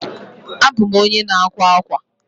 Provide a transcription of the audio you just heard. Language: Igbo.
abum onye na akwa akwa.